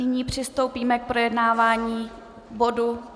Nyní přistoupíme k projednávání bodu